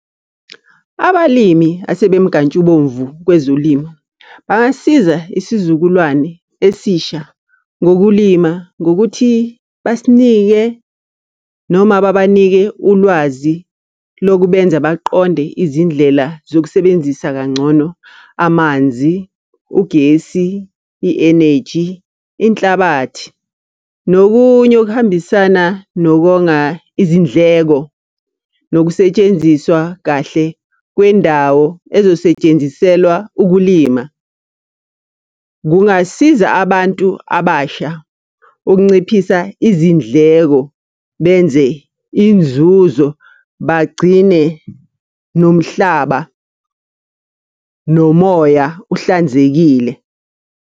Abalimi asebemnkantshubovu kwezolimo, bangasisiza isizukulwane esisha ngokulima ngokuthi, basinike noma babanike ulwazi. Lokhu benza baqonde izindlela zokusebenzisa kangcono amanzi, ugesi, i-eneji, inhlabathi nokunye okuhambisana nokonga izindleko. Nokusetshenziswa kahle kwendawo ezosetshenziselwa ukulima. Kungasiza abantu abasha ukunciphisa izindleko, benze inzuzo bagcine nomhlaba nomoya uhlanzekile.